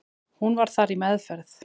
Hún var þar í meðferð.